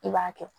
I b'a kɛ